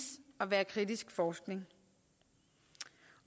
at være kritisk forskning